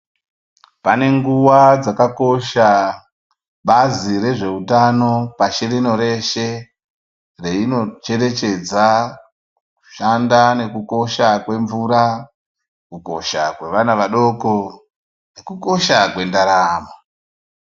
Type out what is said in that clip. Panenguwa dzakakosha bazi rezveutano pashi rino reshe reinocherechedza kushanda nekukosha kwemvura kukosha kwevana vadoko kukosha kwendaramo.